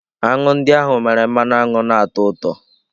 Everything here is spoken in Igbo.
Aṅụ ndị ahụ mere mmanụ aṅụ na-atọ ụtọ.